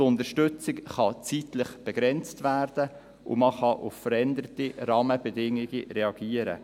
Die Unterstützung kann zeitlich begrenzt werden, und man kann auf veränderte Rahmenbedingungen reagieren.